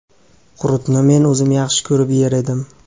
Qurutni men o‘zim yaxshi ko‘rib yer edim.